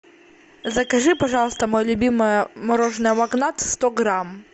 закажи пожалуйста мое любимое мороженое магнат сто грамм